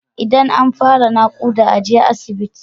Idan an fara nakuda aje asibit